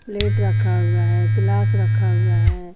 Plate रखा हुआ है ग्लास रखा हुआ है।